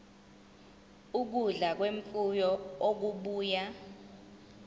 ukudla kwemfuyo okubuya